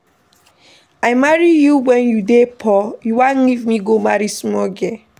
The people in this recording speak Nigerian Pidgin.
I marry you wen you dey poor, you wan leave me go marry small girl.